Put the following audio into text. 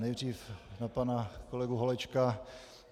Nejdříve na pana kolegu Holečka.